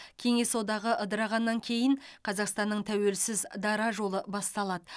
кеңес одағы ыдырағаннан кейін қазақстанның тәуелсіз дара жолы басталады